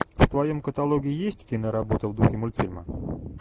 в твоем каталоге есть киноработа в духе мультфильма